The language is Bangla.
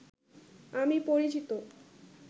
আমি পরিচিত